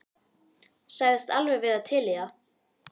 Sagðist alveg vera til í það.